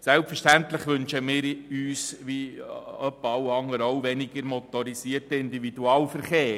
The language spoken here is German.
Selbstverständlich wünschen wir uns – ebenso wie beinahe alle anderen auch – weniger motorisierten Individualverkehr.